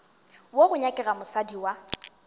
wo go nyakega mosadi wa